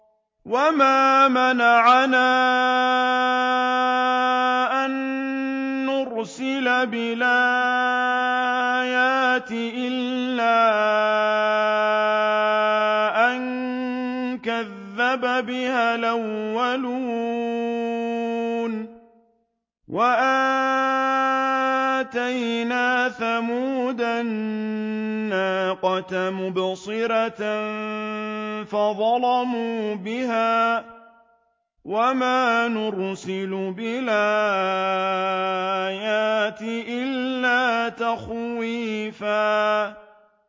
وَمَا مَنَعَنَا أَن نُّرْسِلَ بِالْآيَاتِ إِلَّا أَن كَذَّبَ بِهَا الْأَوَّلُونَ ۚ وَآتَيْنَا ثَمُودَ النَّاقَةَ مُبْصِرَةً فَظَلَمُوا بِهَا ۚ وَمَا نُرْسِلُ بِالْآيَاتِ إِلَّا تَخْوِيفًا